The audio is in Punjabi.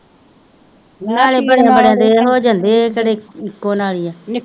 ਨਾਲ ਬੜਿਆ ਬੜਿਆ ਦੇ ਹੋ ਜਾਂਦੇ ਇਹ ਤਾਂ ਇੱਕੋ ਨਾਲੀ ਆ,